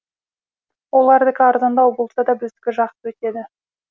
олардікі арзандау болса да біздікі жақсы өтеді